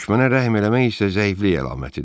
Düşmənə rəhm eləmək isə zəiflik əlamətidir.